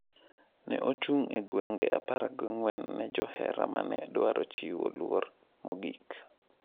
Ne ochung’ e gwenge 14 ne johera ma ne dwaro chiwo luor mogik.